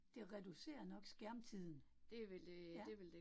Det reducerer nok skærmtiden. Ja